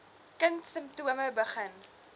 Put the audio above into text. kind simptome begin